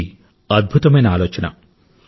ఇది అద్భుతమైన ఆలోచన